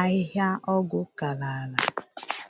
ahịhịa ọgwụ karala.